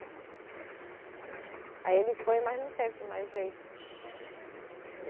Aí ele foi, mas não teve mais jeito.